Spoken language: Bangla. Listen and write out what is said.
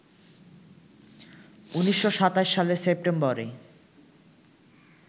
১৯২৭ সালের সেপ্টেম্বরে